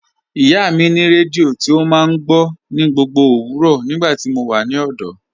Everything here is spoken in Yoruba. Ìyá mi ni rẹdíò tí o máa ń gbọ̀ ní gbogbo owurọ́ nígbàtí mó wà ní ọ̀dọ̀.